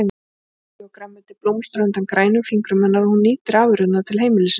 Ávaxtatré og grænmeti blómstra undan grænum fingrum hennar og hún nýtir afurðirnar til heimilisins.